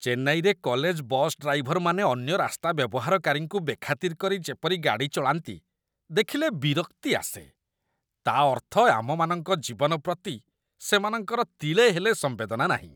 ଚେନ୍ନାଇରେ college bus ଡ୍ରାଇଭରମାନେ ଅନ୍ୟ ରାସ୍ତା ବ୍ୟବହାରକାରୀଙ୍କୁ ବେଖାତିର କରି ଯେପରି ଗାଡ଼ି ଚଳାନ୍ତି, ଦେଖିଲେ ବିରକ୍ତି ଆସେ। ତା' ଅର୍ଥ ଆମମାନଙ୍କ ଜୀବନ ପ୍ରତି ସେମାନଙ୍କର ତିଳେ ହେଲେ ସମ୍ବେଦନା ନାହିଁ।